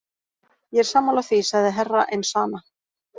Ég er sammála því, sagði Herra Enzana.